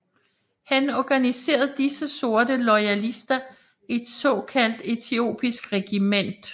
Han organiserede disse sorte loyalister i et såkaldt etiopisk regiment